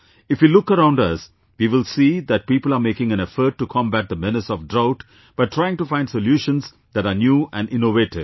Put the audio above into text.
If we look around us, we will see that people are making an effort to combat the menace of drought by trying to find solutions that are new and innovative